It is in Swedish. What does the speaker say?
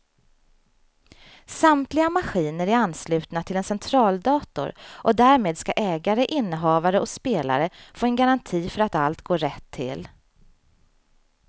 Samtliga maskiner är anslutna till en centraldator och därmed ska ägare, innehavare och spelare få en garanti för att allt går rätt till.